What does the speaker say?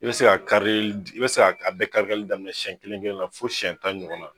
I be se karili i be se k'a bɛɛ kari karili daminɛ sɛn kelen kelen na fɔ siyɛn tan ɲɔgɔn na